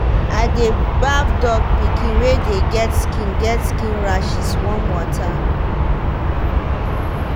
i dey baff dog pikin wey dey get skin get skin rashes warm water.